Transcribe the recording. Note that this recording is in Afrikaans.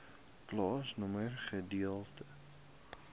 plaasnommer gedeelte